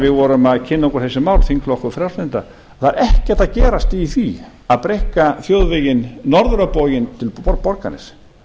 við vorum að kynna okkur þessi mál þingflokkur frjálslyndra að það er ekkert að gerast í því að breikka þjóðveginn norður á bóginn til borgarness